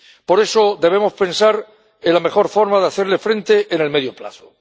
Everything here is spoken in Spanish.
Por eso, debemos pensar en la mejor forma de hacerle frente en el medio plazo.